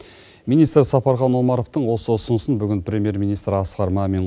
министр сапархан омаровтың осы ұсынысын бүгін премьер министр асқар мамин